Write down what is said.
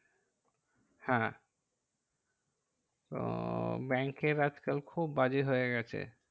হ্যাঁ তো ব্যাঙ্কের আজকাল খুব বাজে হয়ে গেছে।